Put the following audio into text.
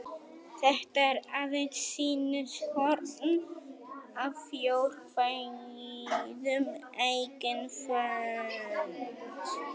Þetta er aðeins sýnishorn af fjórkvæðum eiginnöfnum.